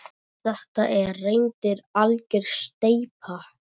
Þetta er reyndar algjör steypa.